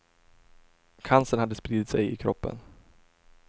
Cancern hade spridit sig i kroppen.